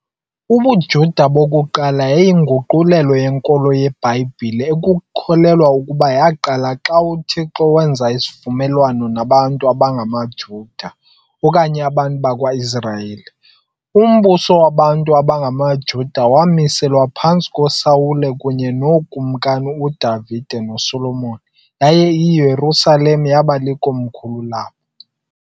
UbuJuda bokuqala yayiyinguqulelo yenkolo yeBhayibhile ekukholelwa ukuba yaqala xa uThixo wenza isivumelwano nabantu abangamaJuda, okanye abantu bakwa-Israyeli. Umbuso wabantu abangamaJuda wamiselwa phantsi koSawule kunye nookumkani uDavide noSolomoni, yaye iYerusalem yaba likomkhulu labo.